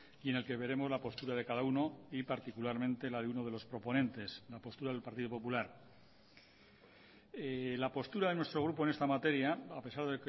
y en el que veremos la postura de cada uno y particularmente la de uno de los proponentes la postura del partido popular la postura de nuestro grupo en esta materia a pesar